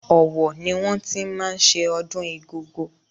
Ọ̀wọ̀ ni wọ́n ti máa ń ṣe ọdún Igogo.